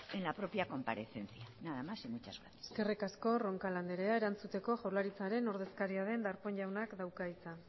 en la propia comparecencia nada más y muchas gracias eskerrik asko roncal andrea erantzuteko jaurlaritzaren ordezkaria den darpón jaunak dauka hitza